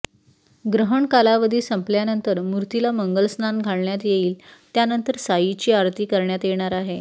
ग्रहण कालावधीसंपल्यानंतर मूर्तीला मंगलस्नान घालण्यात येईल त्यानंतर साईची आरती करण्यात येणार आहे